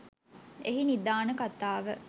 එහි නිධාන කතාව